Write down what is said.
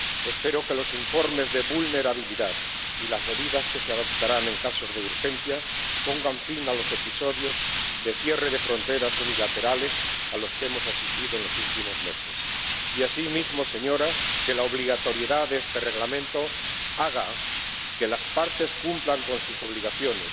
Espero que los informes de vulnerabilidad y las medidas que se adoptarán en casos de urgencia pongan fin a los episodios de cierre de fronteras unilaterales a los que hemos asistido en los últimos meses y, asimismo, que la obligatoriedad de este Reglamento haga que las partes cumplan con sus obligaciones,